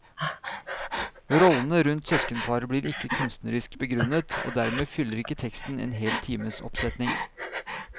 Rollene rundt søskenparet blir ikke kunstnerisk begrunnet, og dermed fyller ikke teksten en hel times oppsetning.